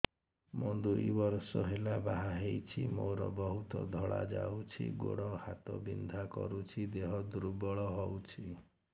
ମୁ ଦୁଇ ବର୍ଷ ହେଲା ବାହା ହେଇଛି ମୋର ବହୁତ ଧଳା ଯାଉଛି ଗୋଡ଼ ହାତ ବିନ୍ଧା କରୁଛି ଦେହ ଦୁର୍ବଳ ହଉଛି